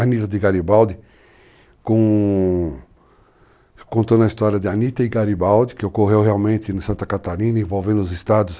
Anitta de Garibaldi contando a história de Anitta e Garibaldi, que ocorreu realmente em Santa Catarina, envolvendo os estados.